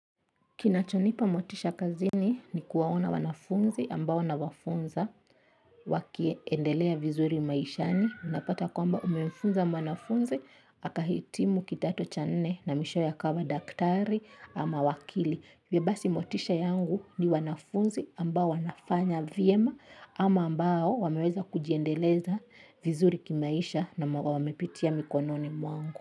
Kinachonipa motisha kazini ni kuwaona wanafunzi ambao na wafunza wakie endelea vizuri maishani. Unapata kwamba umefunza mwanafunzi, aka hitimu kidato cha nne na mwishowe akawa daktari ama wakili. Vya basi motisha yangu ni wanafunzi ambao wanafanya vyema ama ambao wameweza kujiendeleza vizuri kimaisha na wamepitia mikononi mwangu.